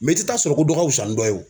i tɛ taa sɔrɔ ko dɔ wusan ni dɔ ye o.